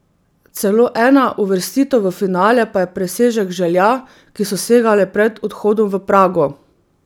Celo ena uvrstitev v finale pa je presežek želja, ki so segale pred odhodom v Prago.